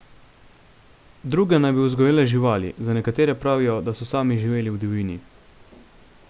druge naj bi vzgojile živali za nekatere pravijo da so sami živeli v divjini